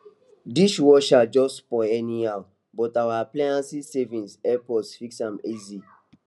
dishwasher just spoil anyhow but our appliance savings help us fix am easy